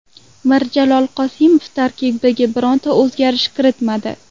Mirjalol Qosimov tarkibga bironta o‘zgarish kiritmadi.